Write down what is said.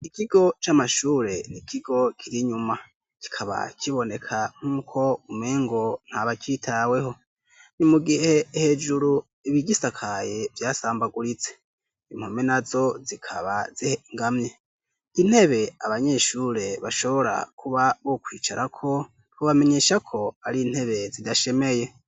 ikigo c'amashule ni kigo kili nyuma kikaba kiboneka nk'uko umengo nta bacitaweho ni mu gihe hejulu ibigisakaye vyasambaguritse impome nazo zikaba zingamye intebe abanyeshule bashobora kuba bokwicara ko bamenyesha ko ari intebe zidashemeye